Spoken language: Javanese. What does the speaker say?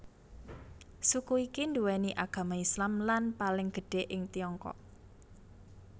Suku iki nduweni agama Islam lan paling gedhe ing Tiongkok